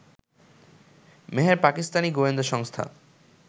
মেহর পাকিস্তানি গোয়েন্দা সংস্থা